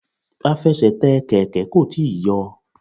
Afẹsẹ̀tẹ̀ Kẹ̀kẹ́ kò tíì yọ.